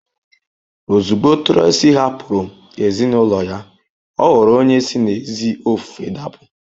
Ozugbo Tracy hapụrụ ezinụlọ ya, ọ ghọrọ onye si n’ezi ofufe dapụ.